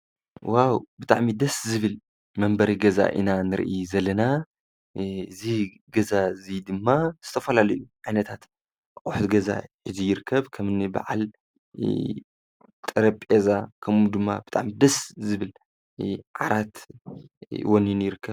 ዋዉ ብጣዕሚ ደስ ዝብል መንበሪ ገዛ ኢና ንርኢ ዘለና። እዚ ገዛ እዚ ድማ ዝተፈላለዩ ዓይነታት ኣቁሑት ገዛ ሒዙ ይርከብ ከምኒ በዓል ጠረጴዛ ከምኡ ድማ ብጣዓሚ ደስ ዝብል ዓራት እዉን ይርከብ።